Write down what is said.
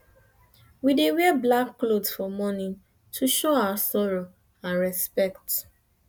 we dey wear black cloth for mourning to show our sorrow and respect